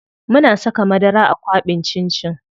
Muna saka madara a kwaɓin cin cin.